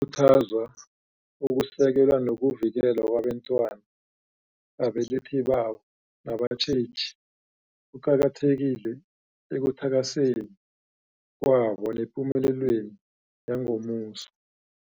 khuthazwa, ukusekelwa nokuvikelwa kwabentwana babelethi babo nabatjheji kuqakathekile ekuthakaseni kwabo nepumele lweni yangomuso.